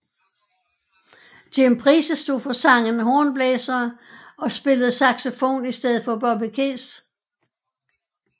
Jim Price stod for sangen hornblæsere og spillede saxofon i stedet for Bobby Keys